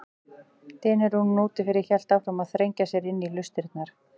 Dynurinn úti fyrir hélt áfram að þrengja sér inn í hlustirnar.